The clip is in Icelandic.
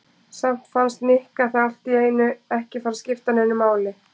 Samt fannst Nikka það allt í einu ekki skipta neinu máli.